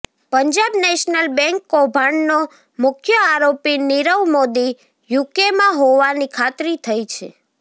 Punjab National Bank કૌભાંડનો મુખ્ય આરોપી નીરવ મોદી યુકેમાં હોવાની ખાતરી થઈ છે